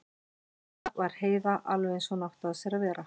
Núna var Heiða alveg eins og hún átti að sér að vera.